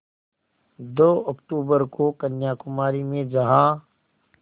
दो अक्तूबर को कन्याकुमारी में जहाँ